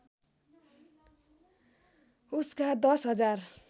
उसका दश हजार